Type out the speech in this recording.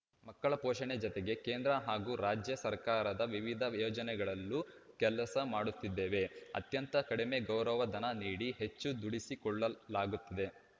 ಮಕ್ಕಳ ಪೋಷಣೆ ಜತೆಗೆ ಕೇಂದ್ರ ಹಾಗೂ ರಾಜ್ಯ ಸರ್ಕಾರದ ವಿವಿಧ ಯೋಜನೆಗಳಲ್ಲೂ ಕೆಲಸ ಮಾಡುತ್ತಿದ್ದೇವೆ ಅತ್ಯಂತ ಕಡಿಮೆ ಗೌರವಧನ ನೀಡಿ ಹೆಚ್ಚು ದುಡಿಸಿಕೊಳ್ಳಲಾಗುತ್ತಿದೆ